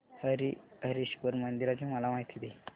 हरीहरेश्वर मंदिराची मला माहिती दे